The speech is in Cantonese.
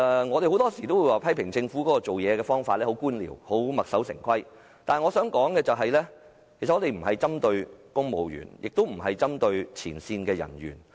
我們經常批評政府處事方式官僚，墨守成規，但我想說的是，我們既不針對公務員，也不針對前線人員。